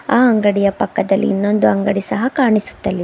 ಆ ಅಂಗಡಿಯ ಪಕ್ಕದಲ್ಲಿ ಇನ್ನೊಂದು ಅಂಗಡಿ ಸಹ ಕಾಣಿಸುತ್ತಲಿ--